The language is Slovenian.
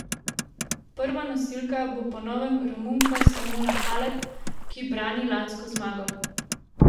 Prva nosilka bo po novem Romunka Simona Halep, ki brani lansko zmago.